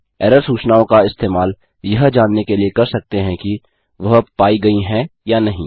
error सूचनाओं का इस्तेमाल यह जानने के लिए कर सकते हैं कि वह पायी गयी हैं या नहीं